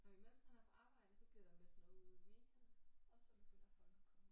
Og imens man er på arbejde så bliver der meldt noget ud i medierne og så begynder folk at komme